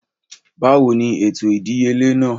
Báwo ni ètò ìdíyelé náà?